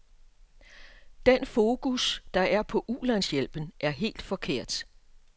Den fokus, der er på ulandshjælpen, er helt forkert.